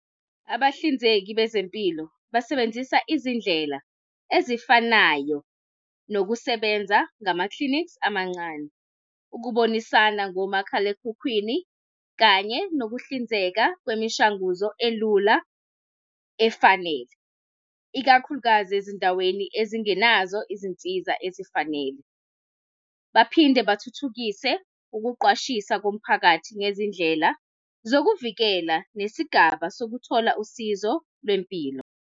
Abahlinzeki bezempilo basebenzisa izindlela ezifanayo nokusebenza ngama-clinics amancane, ukubonisana ngomakhalekhukhwini kanye nokuhlinzeka kwemishanguzo elula efanele ikakhulukazi ezindaweni ezingenazo izinsiza ezifanele. Baphinde bathuthukise ukuqwashisa komphakathi ngezindlela zokuvikela nesigaba sokuthola usizo lwempilo.